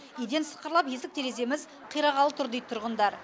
еден сықырлап есік тереземіз қирағалы тұр дейді тұрғындар